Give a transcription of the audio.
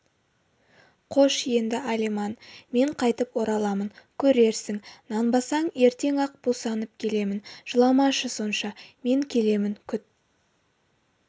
қош енді алиман мен қайтып ораламын көрерсің нанбасаң ертең-ақ босанып келемін жыламашы сонша мен келемін күт